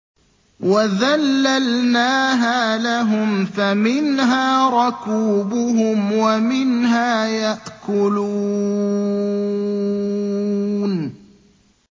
وَذَلَّلْنَاهَا لَهُمْ فَمِنْهَا رَكُوبُهُمْ وَمِنْهَا يَأْكُلُونَ